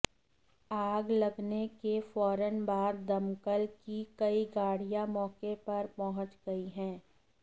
आग लगने के फौरन बाद दमकल की कई गाड़ियां मौके पर पहुंच गई हैं